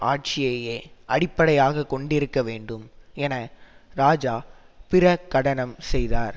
ஆட்சியையே அடிப்படையாக கொண்டிருக்க வேண்டும் என இராஜா பிர கடனம் செய்தார்